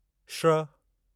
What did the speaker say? श्र